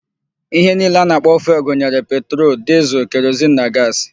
Ihe niile a na-akpọ fuelụ gụnyere: petrolu, dịzịl, kerozin na gaasị.